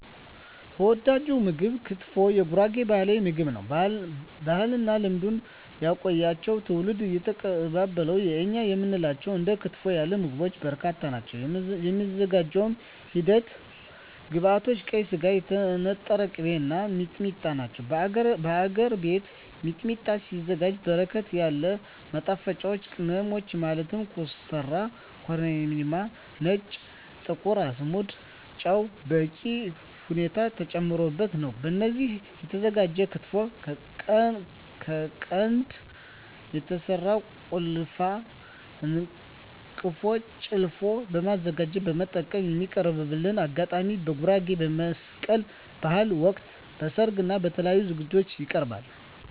ተወዳጅ ምግብ ክትፎ የጉራጌ ባህላዊ ምግብ ነው። ባህልና ልማድ ያቆያቸው ትውልድ እየተቀባበላቸው የእኛ የምንላቸው እንደ ክትፎ ያሉ ምግቦች በርካታ ናቸው። የሚዘጋጅበት ሂደት ግብዐቶች ቀይ ስጋ, የተነጠረ ቅቤ , እና ሚጥሚጣ ናቸው። በሀገር ቤት ሚጥሚጣ ሲዘጋጅ በርከት ያሉ ማጣፈጫወች ቅመሞች ማለት ኮሰረት , ኮረሪማ , ነጭ እና ጥቁር አዝሙድ እና ጨው በበቂ ሁኔታ ተጨምሮበት ነው። በዚህ ሂደት የተዘጋጀው ክትፎ ከቀንድ በተሰራው ጭልፋ/አንቀፎ ጨለፎ በማዘጋጀት መጠቀም። የሚቀርብበት አጋጣሚ በጉራጌ በመስቀል በሀል ወቅት, በሰርግ እና በተለያዪ ዝግጅቶች ይቀርባል።።